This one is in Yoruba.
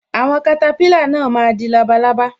Àwọn katapila náà má di labalábá